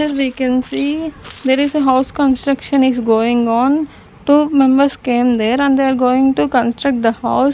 Here we can see there is a house construction is going on two members came there and they are going to construct the house.